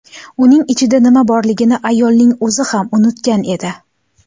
Uning ichida nima borligini ayolning o‘zi ham unutgan edi.